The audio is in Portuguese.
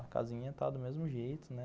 A casinha tá do mesmo jeito, né?